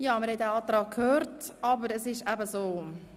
Wir haben die Ausführungen zum Antrag gehört, aber es ist eben so: